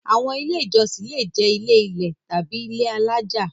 Àwọn Ilé-ìjọsìn le jẹ́ ilé-ilẹ̀ tàbí ilé alájà.